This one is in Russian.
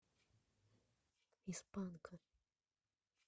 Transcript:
из панка